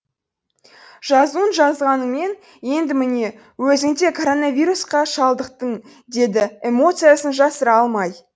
жазуын жазғаныңмен енді міне өзің де коронавирусқа шалдықтың деді эмоциясын жасыра алмай